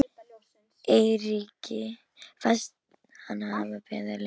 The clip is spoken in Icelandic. Eiríki fannst hann hafa beðið lengi.